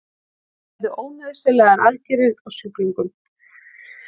Gerðu ónauðsynlegar aðgerðir á sjúklingum